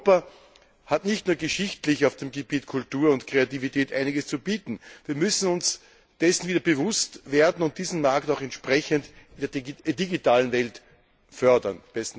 Europa hat nicht nur geschichtlich auf dem Gebiet Kultur und Kreativität einiges zu bieten. Wir müssen uns dessen wieder bewusst werden, und diesen Markt auch entsprechend in der digitalen Welt fördern.